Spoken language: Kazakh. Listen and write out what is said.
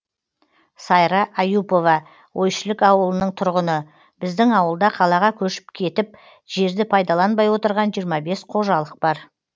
сайра аюпова ойшілік ауылының тұрғыны біздің ауылда қалаға көшіп кетіп жерді пайдаланбай отырған жиырма бес қожалық бар